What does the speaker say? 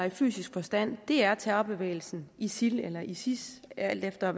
i fysisk forstand er terrorbevægelsen isil eller isis alt efter